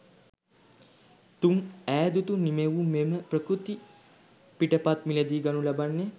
තුන් ඈදුතු නිමැවුමේම ප්‍රකෘති පිටපත් මිලදී ගනු ලබන්නේ